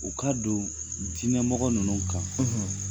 U ka don diinɛmɔgɔ ninnu kan